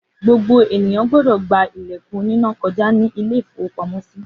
Gbogbo ènìyàn gbọdọ̀ gba ilẹ̀kùn aloná koja ní ilé-ìfowópamọ́sí.